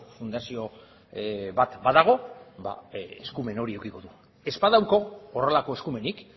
fundazio bat badago eskumen hori edukiko du ez badauka horrelako eskumenik